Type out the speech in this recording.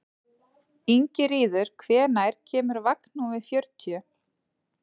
Ingiríður, hvenær kemur vagn númer fjörutíu?